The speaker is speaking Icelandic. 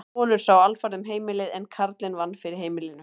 Konur sáu alfarið um heimilið en karlinn vann fyrir heimilinu.